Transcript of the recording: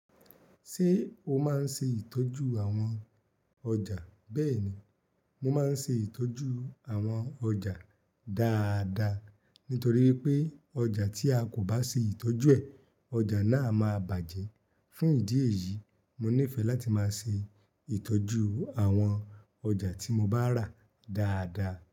Ṣé o máa ń ṣe ìtọ́jú àwọn ọjà? Bẹ́ẹ̀ ni, mo máa ń ṣe ìtọ́jú àwọn ọjà dáadáa. Nítorí wipé ọjà tí a kò bá ṣe ìtọ́jú ẹ̀, ọjà náà máa bàjẹ́. Fún ìdí èyí, mo nífẹ̀ẹ́ láti máa ṣe ìtọ́jú àwọn ọjà tí mo bá rà dáadáa.